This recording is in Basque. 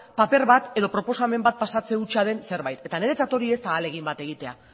paper bat edo proposamen bat pasatzen hutsa den zerbait eta niretzat hori ez da ahalegin bat egitea